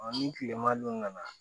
ni tilema dun kana